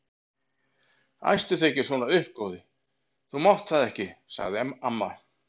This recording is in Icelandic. Æstu þig ekki svona upp góði, þú mátt það ekki sagði amma.